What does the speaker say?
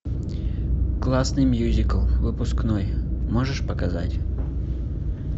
классный мюзикл выпускной можешь показать